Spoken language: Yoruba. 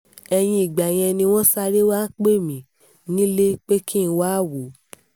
ẹ̀yìn ìgbà yẹn ni wọ́n sáré wàá pè mí nílé pé kí n wáá wò ó